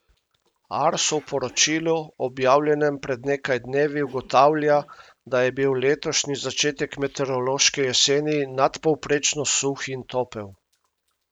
Arso v poročilu, objavljenem pred nekaj dnevi, ugotavlja, da je bil letošnji začetek meteorološke jeseni nadpovprečno suh in topel.